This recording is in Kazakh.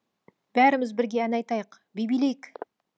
бәріміз бірге ән айтайық би билейік